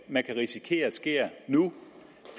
man kan risikere sker nu